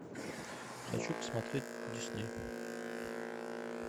хочу посмотреть дисней